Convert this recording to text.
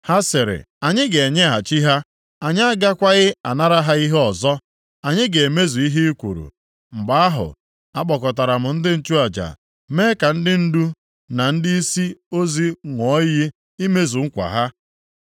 Ha sịrị, “Anyị ga-enyeghachi ha. Anyị agakwaghị anara ha ihe ọzọ. Anyị ga-emezu ihe i kwuru.” Mgbe ahụ, akpọkọtara m ndị nchụaja, mee ka ndị ndu na ndịisi ozi ṅụọ iyi imezu nkwa ha.